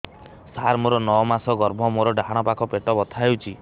ସାର ମୋର ନଅ ମାସ ଗର୍ଭ ମୋର ଡାହାଣ ପାଖ ପେଟ ବଥା ହେଉଛି